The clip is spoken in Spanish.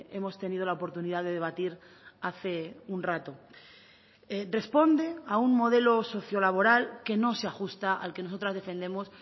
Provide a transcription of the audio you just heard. hemos tenido la oportunidad de debatir hace un rato responde a un modelo socio laboral que no se ajusta al que nosotras defendemos